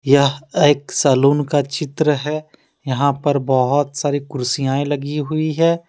यह एक सैलून का चित्र है यहां पर बहुत सारी कुर्सियायें लगी हुई हैं।